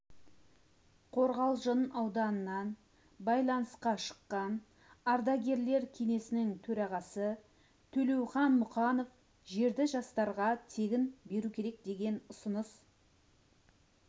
қорғалжың ауданынан байланысқа шыққан ардагерлер кеңесінің төрағасы төлеухан мұқанов жерді жастарға тегін беру керек деген ұсыныс